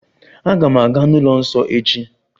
Aga m aga n'ụlọ nsọ echi.